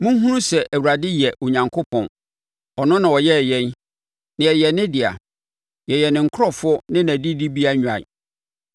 Monhunu sɛ Awurade yɛ Onyankopɔn; ɔno na ɔyɛɛ yɛn, na yɛyɛ ne dea; yɛyɛ ne nkurɔfoɔ ne nʼadidibea nnwan.